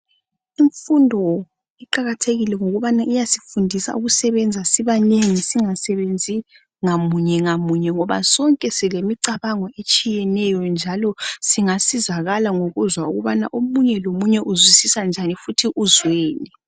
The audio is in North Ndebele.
Imfundo iqakathekile ngokubani iyasifundisa ukusebenza sibanengi. Singasebenzi ngamunye ngamunye ngoba sonke silemicabango etshiyeneyo njalo singasizakala ngokuzwa ukubana omunye lomunye uzwisisa njani njalo uzweni.